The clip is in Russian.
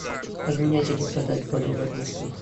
обменять или продать боливар в москве